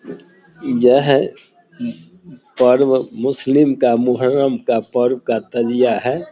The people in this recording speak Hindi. यह है पर्व मुस्लिम का मोहर्रम का पर्व का ताजिया है ।